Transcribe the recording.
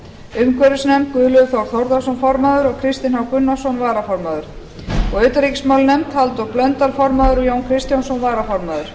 umhverfisnefnd guðlaugur þór þórðarson formaður og kristinn h gunnarsson varaformaður utanríkismálanefnd halldór blöndal formaður og jón kristjánsson varaformaður